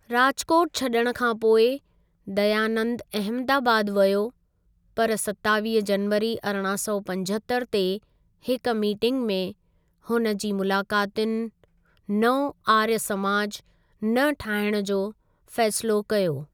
राजकुोट छॾिण खां पोइ, दयानंद अहमदाबाद वियो, पर सतावीह जनवरी अरिड़हां सौ पंजहतरि ते हिक मीटिंग में हुन जे मुलाकातियुनि नओं आर्य समाज न ठाहिणु जो फ़ैसिलो कयो।